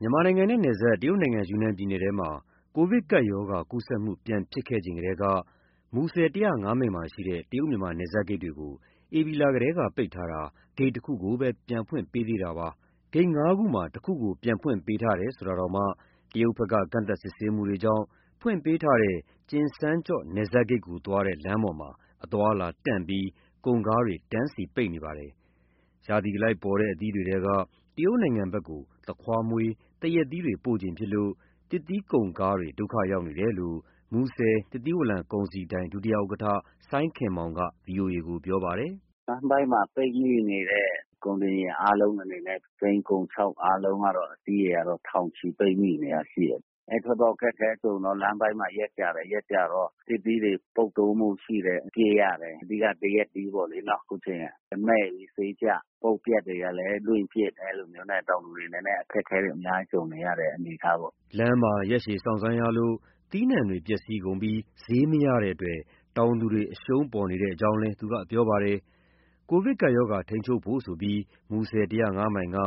မြန်မာနိုင်ငံနဲ့ နယ်စပ် တရုတ်နိုင်ငံ ယူနန်ပြည်နယ်ထဲမှာ ကိုဗစ်ကပ်ရောဂါ ကူးစက်မှုပြန်ဖြစ်ခဲ့ချိန်ကတည်းက မူဆယ် ၁၀၅ မိုင်မှာရှိတဲ့ တရုတ် မြန်မာနယ်စပ်ဂိတ်တွေကို ဧပြီလထဲက ပိတ်ထားတာ ဂိတ် ၁ ခုကိုပဲ ပြန်ဖွင့်ပေးပါသေးတယ်။ ဂိတ် ၅ ခုမှာ ၁ ခုကို ပြန်ဖွင့်ပေးထားတယ်ဆိုတာတောင်မှ တရုတ်ဘက်က ကန့်သတ် စစ်ဆေးမှုတွေကြောင့် ဖွင့်ပေးထားတဲ့ ကျင်စန်းကျော့ နယ်စပ်ဂိတ်ကိုသွားတဲ့ လမ်းပေါ်မှာ အသွားအလာတန့်ပြီး ကုန်ကားတွေ တန်းစီပိတ်နေပါတယ်။ ရာသီအလိုက်ပေါ်တဲ့ အသီးတွေထဲက တရုတ်နိုင်ငံဘက်ကို သခွားမွှေး၊ သရက်သီးတွေပို့ချိန်ဖြစ်လို့ သစ်သီးကုန်ကားတွေ ဒုက္ခရောက်နေတယ်လို့ မူဆယ် သစ်သီးဝလံ ကုန်စည်ဒိုင် ဒုဥက္ကဋ္ဌ စိုင်းခင်မောင်က ပြောပါတယ်။ “လမ်းပိုင်းမှာ ပိတ်မိနေတဲ့ ကုန်တင်ယာဉ်လုံးအနေနဲ့ ကုန်စိမ်း၊ ကုန်ခြောက် အားလုံးကတော့ အစီးရေက ထောင်ချီ ပိတ်မိနေတာရှိတယ်။ အဲလို ခက်ခဲကုန်တော့ လမ်းပိုင်းမှာ ရက်ကြာတယ်၊ ရက်ကြာတော့ သစ်သီးတွေ ပုပ်သိုးမှုရှိတယ်၊ ပစ်ရတယ်။ အဓိက သရက်သီးပေါ့လေနော်၊ အခုအချိန်က။ သရက်သီးတွေမှည့်ပြီးဈေးကျ၊ အပုပ်အပျက်တွေက လွှင့်ပစ်နဲ့ အဲလိုမျိုးနဲ့ တောင်သူတွေနည်းနည်း အခက်အခဲတွေ ကြုံနေရတဲ့ အနေအထားပေါ့။” လမ်းမှ ာရက်ရှည် စောင့်ဆိုင်းရလို့ သီးနှံတွေ ပျက်စီးကုန်ပြီး ဈေးမရတဲ့အတွက် တောင်သူတွေ အရှုံးပေါ်နေကြောင်းလည်း သူကပြောပါတယ်။ ကိုဗစ်ရောဂါ ထိန်းချုပ်ဖို့ဆိုပြီး မူဆယ် ၁၀၅ မိုင်က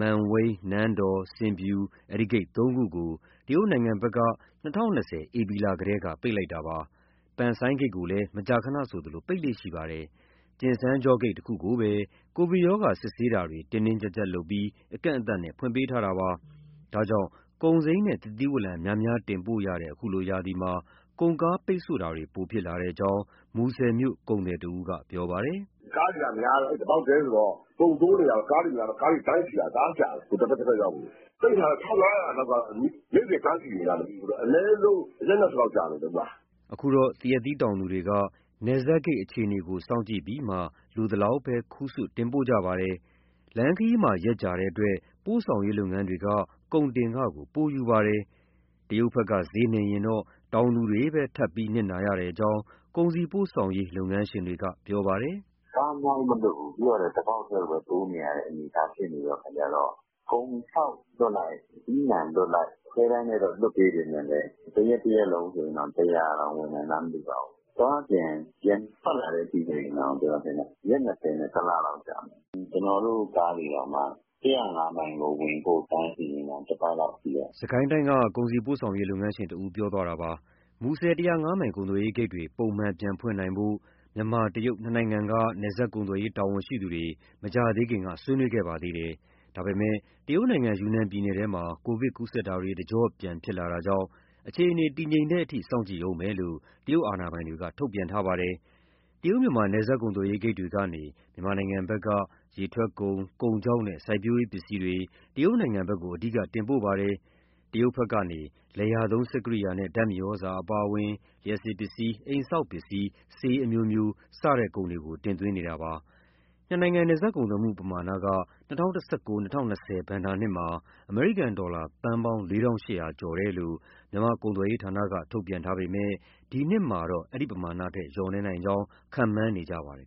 မန်ဝိန်း၊ နန်းတော်၊ ဆင်ဖြူ ဒီဂိတ် ၃ ခုကို တရုတ်ဘက်က ၂၀၂၀ ဧပြီလကတည်းက ပိတ်လိုက်တာပါ။ ပန်ဆိုင်းဂိတ်ကိုလည်း မကြာခဏဆိုသလို ပိတ်လေ့ရှိပါတယ်။ ကျင်စန်းကျော့ဂိတ် တခုကိုပဲ ကိုဗစ်ရောဂါ စစ်ဆေးမှုတွေ တင်းတင်းကျပ်ကျပ်လုပ်ပြီး အကန့်အသတ်နဲ့ ဖွင့်ပေးထားတာပါ။ ဒါကြောင့် ကုန်စိမ်းနဲ့ သစ်သီးဝလံ များများတင်ပို့ရတဲ့ အခုလိုရာသီမှာ ကုန်ကားပိတ်ဆို့မှုတွေ ပိုဖြစ်လာကြောင်း မူဆယ်မြို့က ကုန်သည်တဦးက ပြောပါတယ်။ “ကားတွေကများတော့ အဲဒီတပေါက်တည်းကို အကုန်တိုးနေရတော့ တန်းစီရတာ တအားကြာတယ် တဘက်တဘက်ရောက်ဖို့ကို။ (ဂိတ်တွေ) ပိတ်ထားတော့ (ကုန်ကား) ၁,၅၀၀ လောက်က နေ့စဉ်တန်းစီနေရတယ်။ ဆိုတော့ အနည်းဆုံး ရက် ၂၀ လောက်ကြတယ်။” အခုတော့ သရက်သီးတောင်သူတွေက နယ်စပ်ဂိတ်အခြေအနေကို စောင့်ကြည့်ပြီးမှ လိုသလောက်ပဲ ခူးဆွတ် တင်ပို့ကြပါတယ်။ လမ်းခရီးမှာ ရက်ကြာတဲ့အတွက် ပို့ဆောင်ရေးလုပ်ငန်းတွေက ကုန်တင်ခကို ပိုယူပါတယ်။ တရုတ်ဘက်က ဈေးနှိမ်ရင်တော့ တောင်သူတွေပဲ ထပ်ပြီးနစ်နာရကြောင်း ကုန်စည်ပို့ဆောင်ရေး လုပ်ငန်းရှင်တွေက ပြောပါတယ်။ “ကားအများကြီးမလွှတ်ဘူး ပြီးတော့ တပေါက်တည်းကိုပဲ တိုးနေရတဲ့ အနေအထား ဖြစ်တဲ့အခါကျတော့ ကုန်ခြောက်လွှတ်လိုက်၊ အသီးအနှံလွှတ်လိုက်၊ ခွဲတမ်းနဲ့ လွှတ်ပေးပေမဲ့လည်း တရက်လုံးတောင် ကားအစီး ၁၀၀ ဝင်နိုင်လား မသိပါဘူး။ အသွားအပြန် ပြန်ထွက်လာတဲ့အထိဆိုရင် ကျနော်ထင်တယ် ရက် ၂၀ ၊ ၁ လကြာမယ်။ ကျနော်တို့ ကားတွေတောင်မှ ၁၀၅ မိုင်ကိုဝင်ဖို့ တန်းစီနေတာ တပတ်လောက်ရှိပြီ။” စစ်ကိုင်းတိုင်းက ကုန်စည်ပို့ဆောင်ရေး လုပ်ငန်းရှင်တဦး ပြောသွားတာပါ။ မူဆယ် ၁၀၅ မိုင်ကုန်သွယ်ရေးဂိတ်တွေ ပုံမှန် ပြန်ဖွင့်နိုင်ဖို့ မြန်မာ၊ တရုတ် နှစ်နိုင်ငံက နယ်စပ်ကုန်သွယ်ရေး တာဝန်ရှိသူတွေ မကြာသေးခင်က ဆွေးနွေးခဲ့ပါတယ်။ ဒါပေမဲ့ တရုတ်ယူနန်ပြည်နယ်ထဲမှာ ကိုဗစ်ကူးစက်မှုတွေ တကြော့ပြန် ဖြစ်လာတာကြောင့် အခြေအနေ တည်ငြိမ်တဲ့အထိ စောင့်ကြည့်ဦးမယ်လို့ တရုတ်အာဏာပိုင်တွေက ထုတ်ပြန်ထားပါတယ်။ တရုတ် ၊မြန်မာ နယ်စပ်ကုန်သွယ်ရေးဂိတ်တွေကနေ မြန်မာဘက်က ရေထွက်ကုန်၊ ကုန်ခြောက်နဲ့ စိုက်ပျိုးရေးပစ္စည်းတွေ တရုတ်ဘက်ကို အဓိက တင်ပို့ပါတယ်။ တရုတ်ဘက်ကတော့ လယ်ယာသုံး စက်ကိရိယာနဲ့ ဓာတ်မြေဩဇာအပါအဝင် လျှပ်စစ်ပစ္စည်း၊ အိမ်ဆောက်ပစ္စည်း၊ ဆေးအမျိုးမျိုး စတဲ့ကုန်တွေကို တင်သွင်းနေတာပါ။ နှစ်နိုင်ငံ နယ်စပ်ကုန်သွယ်မှု ပမာဏက ၂၀၁၉-၂၀၂၀ ဘဏ္ဍာနှစ်မှာ အမေရိကန်ဒေါ်လာ သန်းပေါင်း ၄,၈၀၀ ကျော်တယ်လို့ မြန်မာကုန်သွယ်ရေးဌာနက ထုတ်ပြန်ထားပေမဲ့ အခုနှစ်တော့ ဒီထက်လျော့နည်းနိုင်ကြောင်း ခန့်မှန်းနေကြပါတယ်